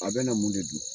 A bɛ na mun de dun